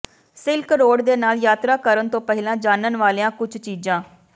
silk Road ਦੇ ਨਾਲ ਯਾਤਰਾ ਕਰਨ ਤੋਂ ਪਹਿਲਾਂ ਜਾਣਨ ਵਾਲੀਆਂ ਕੁਝ ਚੀਜ਼ਾਂ